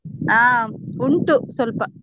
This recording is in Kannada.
ಹ ಉಂಟು ಸ್ವಲ್ಪ.